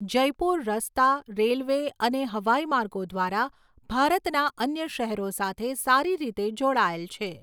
જયપુર રસ્તા, રેલ્વે અને હવાઈમાર્ગો દ્વારા ભારતના અન્ય શહેરો સાથે સારી રીતે જોડાયેલ છે.